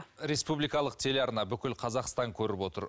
республикалық телеарна бүкіл қазақстан көріп отыр